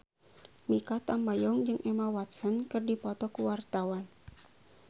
Mikha Tambayong jeung Emma Watson keur dipoto ku wartawan